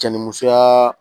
Cɛ ni musoya